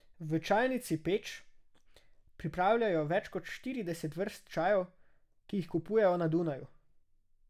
V Čajnici Peč pripravljajo več kot štirideset vrst čajev, ki jih kupujejo na Dunaju.